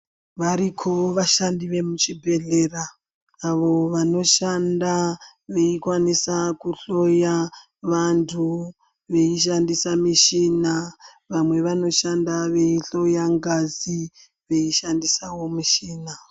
Variko vashandi vemuchibhedhlera ayo vanoshanda veikwanisa kuhloya vantu, veishandisa mishina vamwe vanoshanda veihloya ngazi veishandisavo michina.